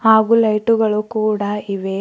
ಹಾಗು ಲೈಟು ಗಳು ಕೂಡ ಇವೆ.